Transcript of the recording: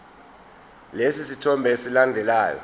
lesi sithombe esilandelayo